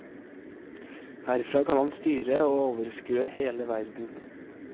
Herfra kan han styre og overskue hele verden.